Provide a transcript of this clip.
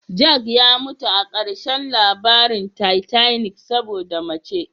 Jack ya mutu a ƙarshen labarin titanic saboda mace.